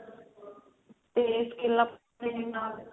ਤੇ skill up ਇਹਦੇ ਨਾਲ